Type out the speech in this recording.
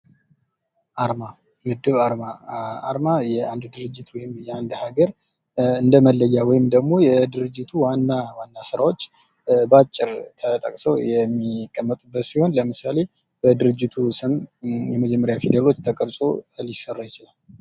አርማ፦ የ እድር አርማ፦ አርማ የአንድ ድርጅት አርማ ወይም ለአንድ ሀገር እንደመለያ ወይም ደግሞ የድርጅቱ ዋና ስራዎች በአጭር ተጠቅሰው የሚቀመጡበት ሲሆን ለምሳሌ የድርጂት ስም የመጀመሪያ ፊደሎች ተቀርጾ ሊሰራ ይችላል።